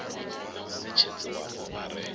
na muṋetshedzi wapo a re